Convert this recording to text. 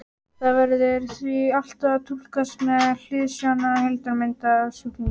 Það verður því alltaf að túlkast með hliðsjón af heildarmyndinni af sjúklingnum.